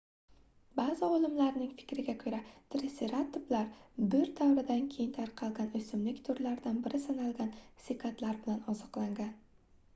baʼzi olimlarning fikriga koʻra triseratoplar boʻr davrida keng tarqalgan oʻsimlik turidan biri sanalgan sikadlar bilan oziqlangan